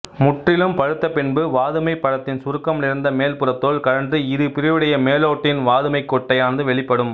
முற்றிலும் பழுத்தபின்பு வாதுமைப் பழத்தின் சுருக்கம் நிறைந்த மேல்புறத்தோல் கழன்று இருபிரிவுடைய மேலோட்டுடன் வாதுமைக் கொட்டையானது வெளிப்படும்